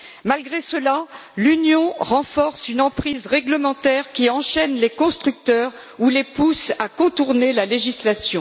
Malgré cela, l'Union renforce une emprise réglementaire qui enchaîne les constructeurs ou les pousse à contourner la législation.